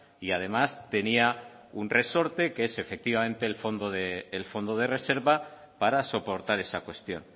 y además tenía un resorte que es efectivamente el fondo de reserva para soportar esa cuestión